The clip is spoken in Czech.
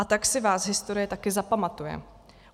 A tak si vás historie také zapamatuje.